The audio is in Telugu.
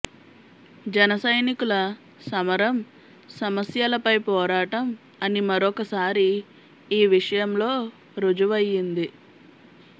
జనసైనికుల సమరం సమస్యల పై పోరాటం అని మరోక సారి ఈ విషయం లో ఋజువయ్యింది